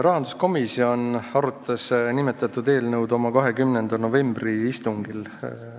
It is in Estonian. Rahanduskomisjon arutas nimetatud eelnõu oma 20. novembri istungil.